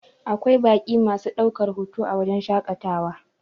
Akwai baƙi masu ɗaukar hoto a wajen shaƙatawa